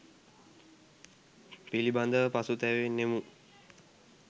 පිලිඹදව පසුතැවෙනුනෙමු?